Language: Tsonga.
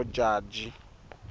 modjadji